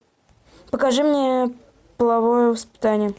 покажи мне половое воспитание